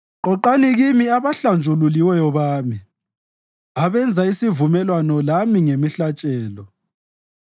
“Qoqani kimi abahlanjululiweyo bami, abenza isivumelwano lami ngemihlatshelo.”